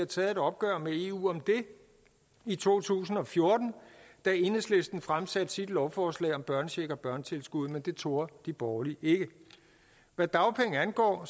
taget et opgør med eu om det i to tusind og fjorten da enhedslisten fremsatte sit lovforslag om børnecheck og børnetilskud men det turde de borgerlige ikke hvad dagpenge angår